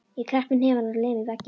Ég kreppi hnefann og lem í vegginn.